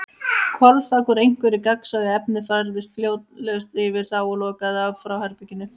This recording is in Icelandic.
Hvolfþak, úr einhverju gagnsæju efni, færðist hljóðlaust yfir þá og lokaði af frá herberginu.